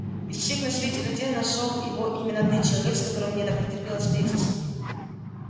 из всех на свете людей нашёл его именно ты человек с которым мне так не терпелось встретиться